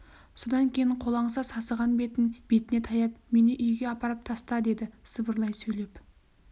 содан кейін қолаңса сасыған бетін бетіне таяп мені үйге апарып таста деді сыбырлай сөйлеп